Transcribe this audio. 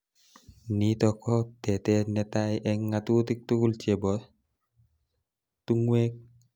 Nitok ko tetet netai eng ngatutik tukul chebo tungwek